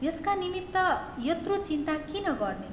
यसका निमित्त यत्रो चिन्ता किन गर्ने?